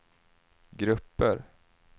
grupper